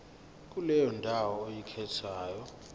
kuleyo ndawo oyikhethayo